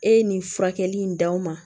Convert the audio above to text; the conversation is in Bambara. E ye nin furakɛli in d'aw ma